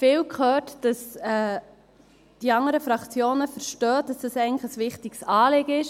Ich habe jetzt oft gehört, dass die anderen Fraktionen verstehen, dass es eigentlich ein wichtiges Anliegen ist.